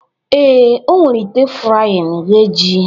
Ee, o were ite frying ghee ji